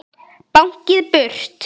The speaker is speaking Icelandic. Báknið burt?